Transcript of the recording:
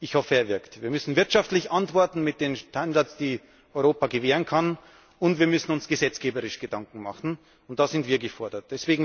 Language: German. Ich hoffe, er wirkt. Wir müssen wirtschaftlich antworten mit den Standards, die Europa gewähren kann, und wir müssen uns gesetzgeberisch Gedanken machen, und da sind wir gefordert.